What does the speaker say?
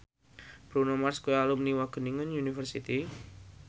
Bruno Mars kuwi alumni Wageningen University